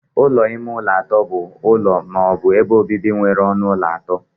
Ụlọ ime ụlọ atọ bụ ụlọ ma ọ bụ ebe obibi nwere ọnụ ụlọ atọ.